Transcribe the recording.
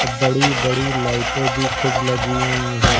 अब बड़ी बड़ी लाइटे भी खूब लगी हुई हैं।